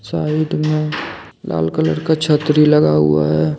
Side में लाल colour का छतरी लगा हुआ है।